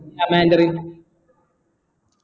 ആ മാൻഡറിന്